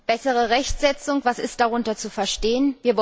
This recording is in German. Bessere Rechtsetzung, was ist darunter zu verstehen?